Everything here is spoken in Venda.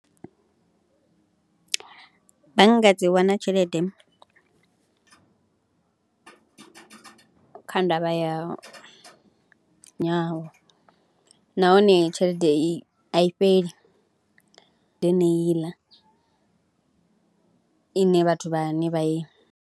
Bannga dzi wana tshelede kha ndavha ya nahone tshelede i a i fheli, ndi yeneiḽa ine vhathu vhane vha i.